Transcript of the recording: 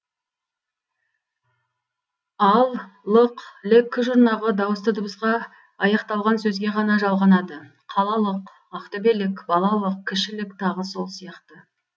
ал лық лік жұрнағы дауысты дыбысқа аяқталған сөзге ғана жалғанады қала лық ақ төбе лік бала лық кіші лік тағы сол сияқты